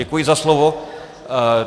Děkuji za slovo.